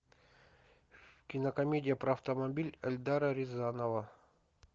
кинокомедия про автомобиль эльдара рязанова